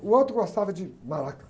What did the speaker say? O outro gostava de maraca.